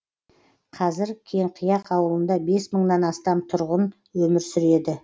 қазір кеңқияқ ауылында бес мыңнан астам тұрғын өмір сүреді